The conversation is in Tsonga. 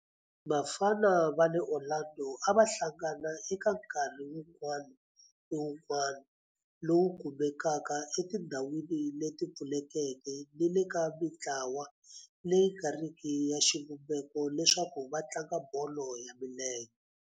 Vafana va le Orlando a va hlangana eka nkarhi wun'wana ni wun'wana lowu kumekaka etindhawini leti pfulekeke ni le ka mintlawa leyi nga riki ya xivumbeko leswaku va tlanga bolo ya milenge.